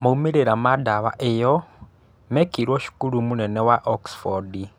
Maumĩrĩra ma dawa ĩyo mekĩirwo cukuru mũnene wa Oxford